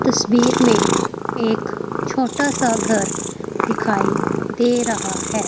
तस्वीर में एक छोटा सा घर दिखाई दे रहा है।